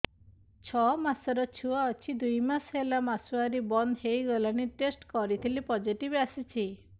ଛଅ ମାସର ଛୁଆ ଅଛି ଦୁଇ ମାସ ହେଲା ମାସୁଆରି ବନ୍ଦ ହେଇଗଲାଣି ଟେଷ୍ଟ କରିଥିଲି ପୋଜିଟିଭ ଆସିଛି